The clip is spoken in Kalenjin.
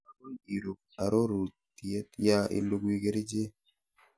agoi irub aroriet ya ilugui kerichek